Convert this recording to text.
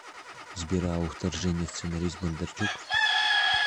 сбер а у вторжения сценарист бондарчук